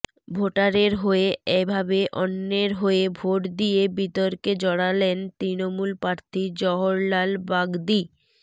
ভোটারের হয়ে এভাবে অন্যের হয়ে ভোট দিয়ে বিতর্কে জড়ালেন তৃণমূল প্রার্থী জহরলাল বাগদি